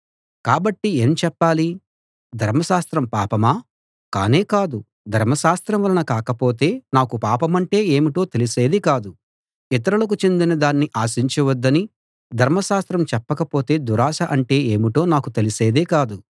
కాబట్టి ఏం చెప్పాలి ధర్మశాస్త్రం పాపమా కానే కాదు ధర్మశాస్త్రం వలన కాకపోతే నాకు పాపమంటే ఏమిటో తెలిసేది కాదు ఇతరులకు చెందిన దాన్ని ఆశించవద్దని ధర్మశాస్త్రం చెప్పకపోతే దురాశ అంటే ఏమిటో నాకు తెలిసేది కాదు